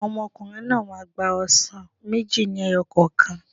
Àwọn ọmọkùnrin náà máa gba ọsàn méjì lẹ́yọ̀ kokan